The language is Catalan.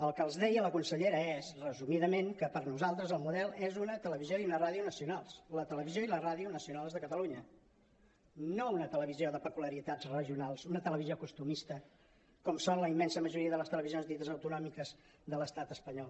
el que els deia la consellera és resumidament que per a nosaltres el model és una televisió i una ràdio nacionals la televisió i la ràdio nacionals de catalunya no una televisió de pe·culiaritats regionals una televisió costumista com són la immensa majoria de les televisions dites autonòmiques de l’estat espanyol